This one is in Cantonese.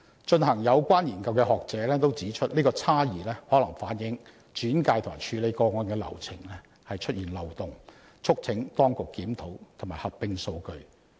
進行有關研究的學者也指出，這個差異可能反映轉介及處理個案的流程出現漏洞，促請當局檢討及合併數據。